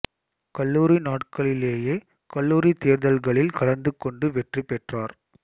கல்லூரி நாட்களிலேயே கல்லூரி தேர்தல்களில் கலந்து கொண்டு வெற்றி பெற்றார்